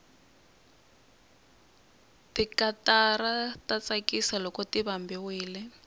tikatara ta tsakisa loko ti vambiwile